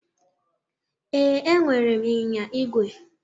Ee, enwere m ịnyịnya igwe.